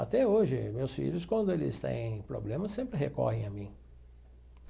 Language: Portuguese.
Até hoje, meus filhos, quando eles têm problemas, sempre recorrem a mim.